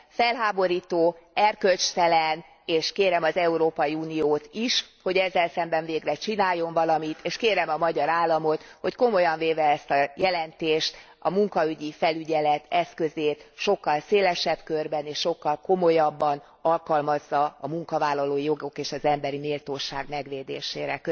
Felháborító, erkölcstelen, és kérem az Európai Uniót is, hogy ezzel szemben végre csináljon valamit. És kérem a magyar államot, hogy komolyan véve ezt a jelentést, a munkaügyi felügyelet eszközét sokkal szélesebb körben és sokkal komolyabban alkalmazza a munkavállalói jogok és az emberi méltóság megvédésére.